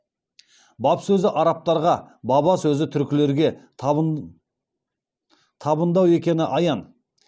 баб сөзі арабтарға баба сөзі түркілерге табындау екені аян